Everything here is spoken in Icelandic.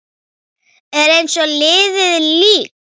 Er eins og liðið lík.